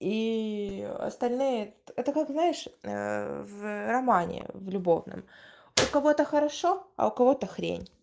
и остальные это как знаешь в романе в любовном у кого то хорошо а у кого-то хрень